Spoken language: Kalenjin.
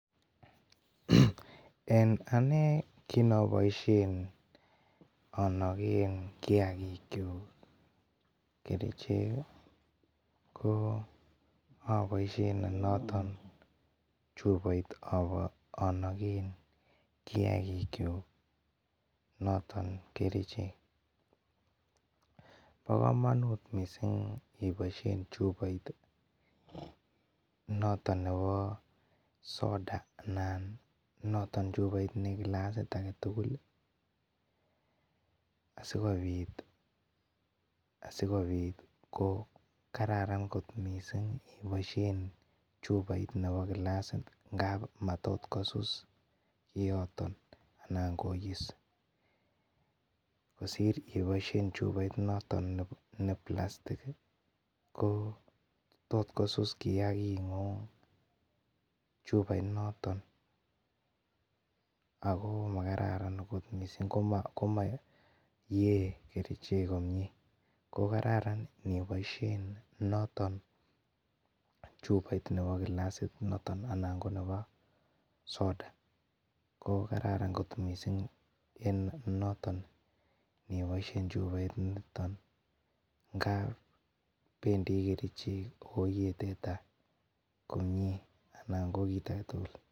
en anee kinaboisien anagen kiagiguk kerichek ih aboishen noton chuboit anagen kiagigyuk noton kerichek. Bo komanut miss6iniboisien chuboit ih noton neboo soda anan chuboit ne glassit agetugul ih asikobit ko kararan kot missing aniboisien nebo glassit ngap matot kosus kioton anan keyeisi . Kosir iboisien chuboit noton ne blastick ko toskosus kiagit ng'ung chuboit noton ago magararan kot missing komayee kerichek komie. Kokaran iboisien chuboit noton nebo glassit anan ko nebo soda.ko kararan kot missing iniboishen en chuboit niton ngap bendii kerichek Ako yee teta ngo kit agetugul.